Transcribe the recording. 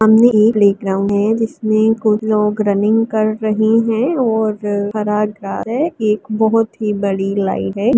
सामने एक प्लेग्राउंग है जिसमें कुछ लोग रनिंग कर रही हैं और हरा ग्रास है। एक बहोत ही बड़ी लाइन है।